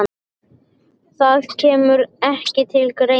Það kemur ekki til greina.